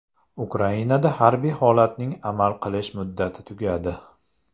Ukrainada harbiy holatning amal qilish muddati tugadi.